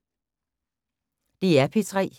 DR P3